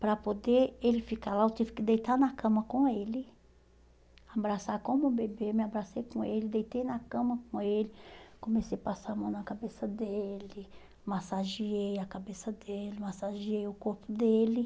Para poder ele ficar lá, eu tive que deitar na cama com ele, abraçar como um bebê, me abracei com ele, deitei na cama com ele, comecei a passar a mão na cabeça dele, massageei a cabeça dele, massageei o corpo dele.